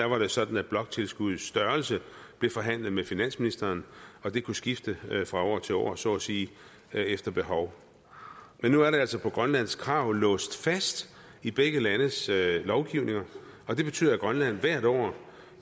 var det sådan at bloktilskuddets størrelse blev forhandlet med finansministeren og det kunne skifte fra år til år så at sige efter behov men nu er det altså på grønlands krav låst fast i begge landes lovgivninger og det betyder at grønland hvert år